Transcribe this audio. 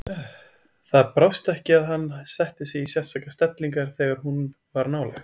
Það brást ekki að hann setti sig í sérstakar stellingar þegar hún var nálægt.